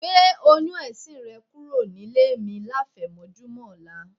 Gbé oyún ẹ̀sin rẹ kúrò nílé mi láfẹ̀mọ́júmọ̀ ọ̀la.